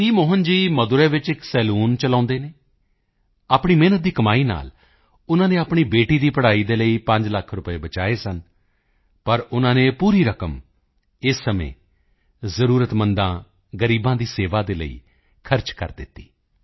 ਮੋਹਨ ਜੀ ਮਦੁਰੈ ਵਿੱਚ ਇੱਕ ਸਲੂਨ ਚਲਾਉਂਦੇ ਹਨ ਆਪਣੀ ਮਿਹਨਤ ਦੀ ਕਮਾਈ ਨਾਲ ਉਨ੍ਹਾਂ ਨੇ ਆਪਣੀ ਬੇਟੀ ਦੀ ਪੜ੍ਹਾਈ ਲਈ ਪੰਜ ਲੱਖ ਰੁਪਏ ਬਚਾਏ ਸਨ ਪਰ ਉਨ੍ਹਾਂ ਨੇ ਇਹ ਪੂਰੀ ਰਕਮ ਇਸ ਸਮੇਂ ਜ਼ਰੂਰਤਮੰਦਾਂ ਗ਼ਰੀਬਾਂ ਦੀ ਸੇਵਾ ਦੇ ਲਈ ਖਰਚ ਕਰ ਦਿੱਤੀ